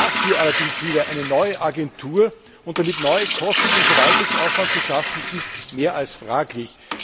Dafür allerdings wieder eine neue Agentur und damit neue Kosten und Verwaltungsaufwand zu schaffen, ist mehr als fraglich.